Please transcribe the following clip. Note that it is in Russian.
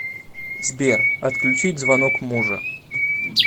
сбер отключить звонок мужа